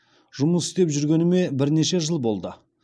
жұмыс істеп жүргеніме бірнеше жыл болды